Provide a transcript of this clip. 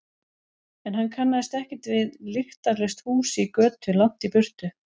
En hann kannaðist ekkert við lyktarlaust hús í götu langt í burtu.